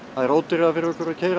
það er ódýrara fyrir okkur að keyra